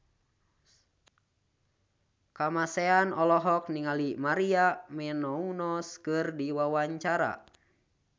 Kamasean olohok ningali Maria Menounos keur diwawancara